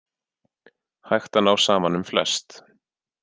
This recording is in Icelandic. Hægt að ná saman um flest